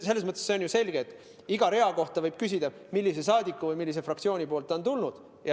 Selles mõttes on ju selge, et iga rea kohta võib küsida, millise saadiku või millise fraktsiooni poolt ta on tulnud.